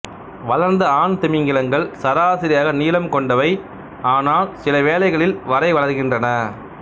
வளர்ந்த ஆண் திமிங்கிலங்கள் சராசரியாக நீளம் கொண்டவை னால் சிலவேளைகளில் வரை வளர்கின்றன